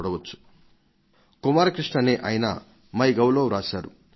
శ్రీ కుమార్ కృష్ణ అనే ఆయన MyGovలో రాశారు